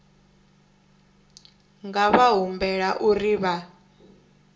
nga vha humbela uri vha